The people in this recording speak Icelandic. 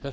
þetta